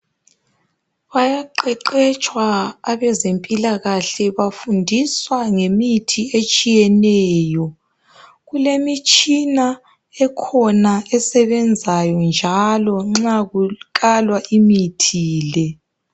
Bayaqeqetshwa abezempilakahle bafundiswa ngemithi etshiyeneyo. Kulemitshina ekhona esebenzayo njalo nxa kukalwa imithi le.